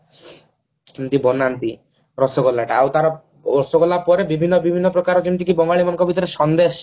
କେମତି ବନାନ୍ତି ରସଗୋଲା ଟା ଆଉ ତାର ରସଗୋଲା ପରେ ବିଭିନ୍ନ ବିଭିନ୍ନ ଯେମତିକି ବଙ୍ଗାଳୀ ମାନଙ୍କ ଭିତରେ ସନ୍ଦେଶ